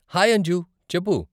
Hi Anju! చెప్పు.